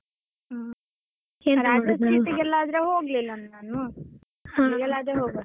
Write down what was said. ಹಾ Raja street ಗೆಲ್ಲ ಆದ್ರೆ ಹೋಗಿಲ್ಲ ನಾನು ಅಲ್ಲಿಗೆಲ್ಲ ಆದ್ರೆ ಹೋಗುವ.